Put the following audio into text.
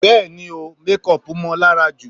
Bẹ́ẹ̀ni o, mékọpù mọ́ọ lára jù.